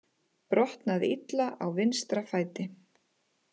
Brotnaði illa á vinstra fæti